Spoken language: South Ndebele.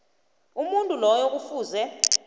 umuntu loyo kufuze